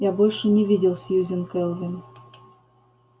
я больше не видел сьюзен кэлвин